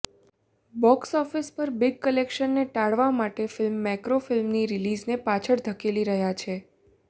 box office પર big કલેક્શને ટાળવા માટે ફિલ્મ મેકરો ફિલ્મની રિલીઝને પાછળ ધકેલી રહ્યા છે